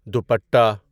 dupatta